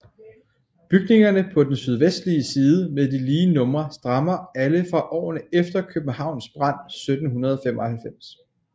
Bygningerne på den sydvestlige side med de lige numre stammer alle fra årene efter Københavns brand 1795